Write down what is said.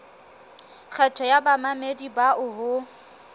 kgetho ya bamamedi bao ho